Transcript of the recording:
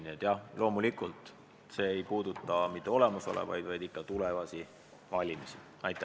Ja loomulikult ei puuduta see mitte olemasolevaid komisjone, vaid ikka tulevaste valimiste omasid.